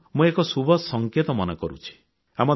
ଏହାକୁ ମୁଁ ଏକ ଶୁଭ ସଂକେତ ମନେକରୁଛି